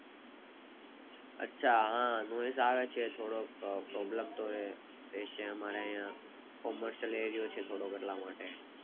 અચ્છા હ આવે છે થોડોક Problem રેય રેશે અમારે આયા Areo છે થોડોક એટલા માટે